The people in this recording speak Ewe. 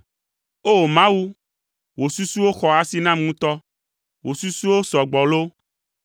O! Mawu, wò susuwo xɔ asi nam ŋutɔ! Wò susuwo sɔ gbɔ loo!